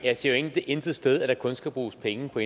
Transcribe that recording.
jeg siger jo intet sted at der kun skal bruges penge på